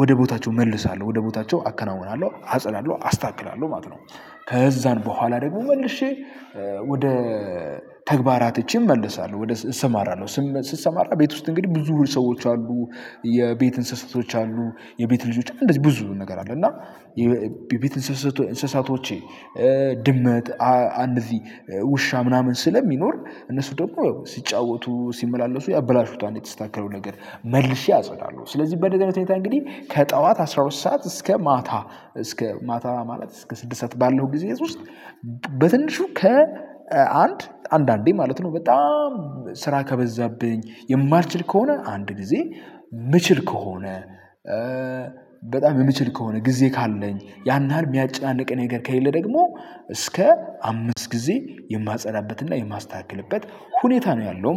ወደ ቦታቸው እመልሳለሁ ወደ ቦታቸው አከናውናለሁ አጸዳለሁ አስታክላለሁ ማለት ነው። ከዛን በኋላ ደግሞ መልሼ ወደ ተግባራት እቺን እመለሳለሁ ወደ እሰማራለሁ ስም ስትሰማራ ቤት ውስጥ እንግዲህ ብዙ ሰዎች አሉ። የቤት እንስሳቶች አሉ የቤት ልጆች እንደዚህ ብዙ ነገር አለ። እና ቤት እንስሳቶቼ ድመት አንድ እዚህ ውሻ ምናምን ስለሚኖር እነሱ ደግሞ ሲጫወቱ ሲመላለሱ ያበላሹታል የተስተካከለው ነገር መልሼ አጸዳለሁ። ስለዚህ በደንብ አይነት ሁኔታ እንግዲህ ከጠዋት አስራ ሁለት ሰዓት እስከ ማታ እስከ ማታ ማለት እስከ ስድስት ሰዓት ባለው ጊዜ ውስጥ። በትንሹ ከአንድ አንዳንዴ ማለት ነው በጣም ስራ ከበዛብኝ የማልችል ከሆነ አንድ ጊዜ የምችል ከሆነ በጣም የምችል ከሆነ ጊዜ ካለኝ ያንያል የሚያጨናንቅ ነገር ከሌለ ደግሞ እስከ አምስት ጊዜ የማፀዳበትና የማስተካክልበት ሁኔታ ነው። ያለው